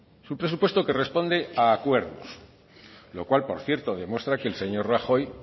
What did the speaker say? es un presupuesto que responde a acuerdos lo cual por cierto muestra que el señor rajoy